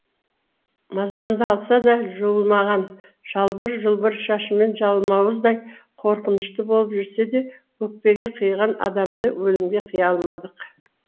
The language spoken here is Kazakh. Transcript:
мазамды алса да жуылмаған жалбыр жұлбыр шашымен жалмауыздай қорқынышты болып жүрсе де өкпеге қиған адамды өлімге қия алмадық